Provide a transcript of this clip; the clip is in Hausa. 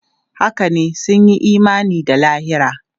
Haka ne, sun yi imani da lahira.